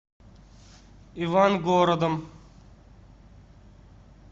ивангородом